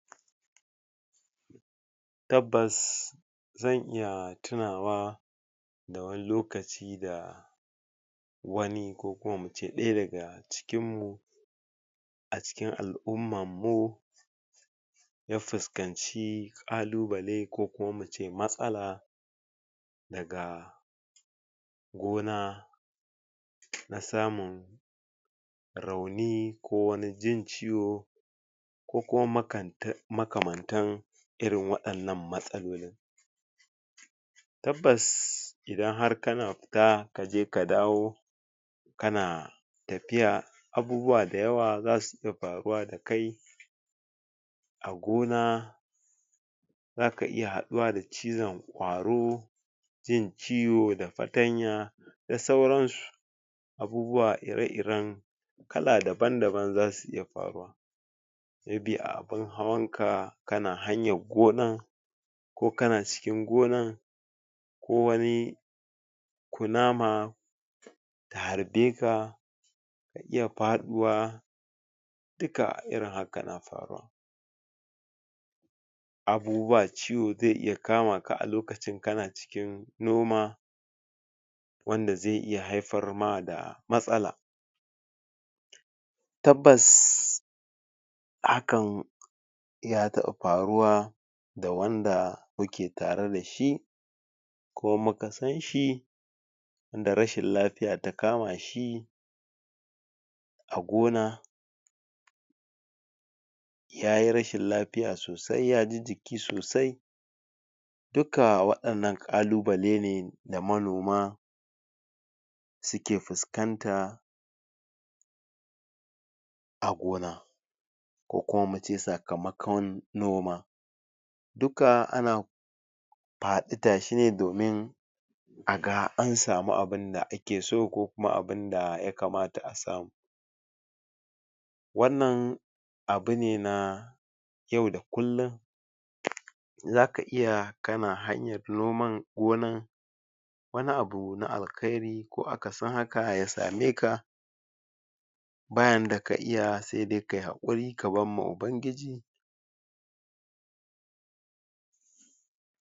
Tabbas zan iya tunawa da wani lokaci da wami ko kuma wani daga cikin mu a cikin al'umman mu ya fuskanci ƙalubale ko kuma mu ce matsala daga gona na samun rauni ko wani jin ciwo ko kuma? makamantan irin waɗannan matsalolin Tabbas idan har kana fita kaje ka dawo kana tafiya abubuwa dayawa xasu iya afruwa da kai a gona za ka iya haɗuwa da cizon ƙwaro jin ciwo da fatanya da sauransu abubuwa ire-iren kala daban-daban zasu iya faruwa maybe wataƙila) a abunnhawan ka kana hanyan gonan\ ko kana cikin gonan ko wani kunama ta harbe ka ka iya faɗuwa dukka irin haka na faruwa abuuwa ciwo zai iya kama ka a lokacin kana cikin noma wanda zai iya haifar ma da matsala Tabbas hakan ya taƘɓa faruwa da wanda muke tare da shi\ ko muka san shi wanda rashin lafiya ta kama shi a gona yayi rashin lafiya sosai ya ji jiki sosai dukka wannan ƙalubale ne da manoma suke fuskanta a gona. ko kuma muce sakamakon noma dukka ana faɗi tashi ne domin a ga samu abunda ake so ko kuma abunda ya kamata a samu wannan abune na yau da kullum za ka iya kana hanyar noman gonan wani abu na alkhairi ko akasin haka ya same ka ba yanda ka iya sai dai kayi haƙuri ka bar wa ubangiji